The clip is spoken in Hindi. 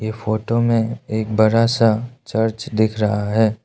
ये फोटो में एक बड़ा सा चर्च दिख रहा है।